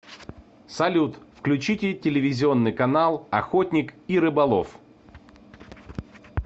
салют включите телевизионный канал охотник и рыболов